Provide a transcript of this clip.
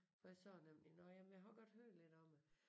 For jeg sagde nemlig nåh jamen jeg har godt hørt lidt om det